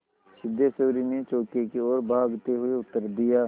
सिद्धेश्वरी ने चौके की ओर भागते हुए उत्तर दिया